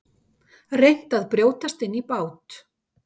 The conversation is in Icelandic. Reynt að brjótast inn í bát